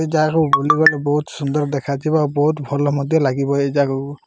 ଆମେ ଜାହା ଘରକୁ ବୁଲିଗଲୁ ସୁନ୍ଦର୍ ଦେଖାଥିବା ଭଲ ମଧ୍ୟ ଲାଗିବ ଏ ଜାଗାରୁ।